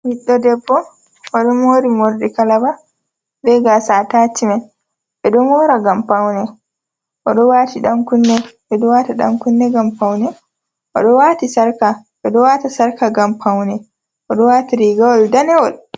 Ɓiɗdo debbo oɗo mori morɗi kalaba be gasa atacimen, ɓe ɗon mora ngam paune oɗo wati dan kunne ngam paune, oɗo wati sarka ɓeɗo wata sarka ngam paune, oɗo wati riga wol danewol.